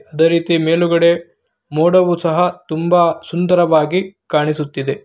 ಅದೆ ರೀತಿ ಮೇಲುಗಡೆ ಮೋಡವು ಸಹ ತುಂಬಾ ಸುಂದರವಾಗಿ ಕಾಣಿಸುತ್ತಿದೆ.